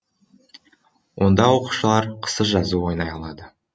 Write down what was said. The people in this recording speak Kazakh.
онда оқушылар қысы жазы ойнай алады